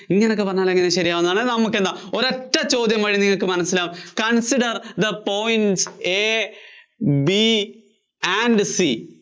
ഇങ്ങനെയൊക്കെ വന്നാല്‍ എങ്ങിനെയാ ശരിയാവുന്നത്, എന്നാല്‍ നമുക്കെന്താ ഒരൊറ്റ ചോദ്യം മതി നിങ്ങള്‍ക്ക് മനസ്സിലാവും, consider the points A, B and C